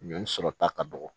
Ɲɔ sɔrɔ ta ka dɔgɔ